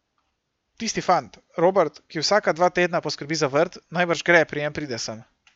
Tisti fant, Robert, ki vsaka dva tedna poskrbi za vrt, najbrž gre, preden pride sem.